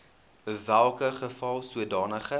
welke geval sodanige